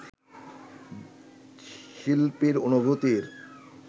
শিল্পীর অনুভূতির